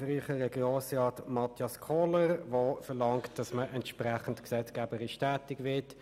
Dieser hat verlangt, dass man entsprechend gesetzgeberisch tätig wird.